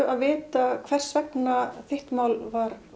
að vita hvers vegna þitt mál var